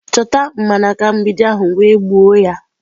Chọta mgbanaka mgbidi ahụ wee gbuo ya!.